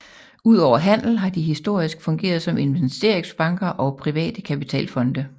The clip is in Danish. Udover handel har de historisk fungeret som investeringsbanker og private kapitalfonde